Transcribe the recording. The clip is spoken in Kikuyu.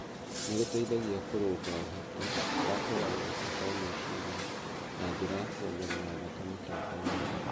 nĩ gũteithagia kũrũnga ũhoti wa kũgarũrũka kwa meciria na njĩra ya kwongerera thakame tomboinĩ.